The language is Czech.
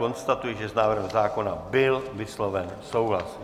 Konstatuji, že s návrhem zákona byl vysloven souhlas.